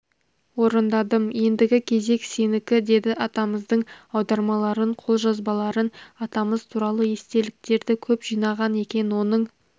орындадым ендігі кезек сенікі деді атамыздың аудармаларын қолжазбаларын атамыз туралы естеліктерді көп жинаған екен оның